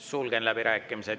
Sulgen läbirääkimised.